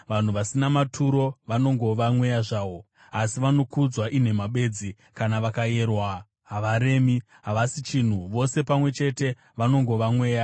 Vanhu vasina maturo vanongova mweya zvawo, asi vanokudzwa inhema bedzi; kana vakayerwa havaremi, havasi chinhu; vose pamwe chete vanongova mweya.